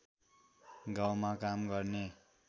गाउँमा काम गर्ने